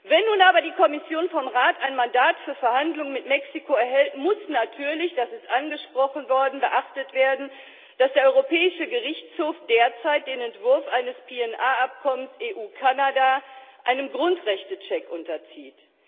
Wenn nun aber die Kommission vom Rat ein Mandat für Verhandlungen mit Mexiko erhält, muss natürlich das ist angesprochen worden beachtet werden, dass der Europäische Gerichtshof derzeit den Entwurf eines PNR Abkommens zwischen der EU und Kanada einem Grundrechtecheck unterzieht.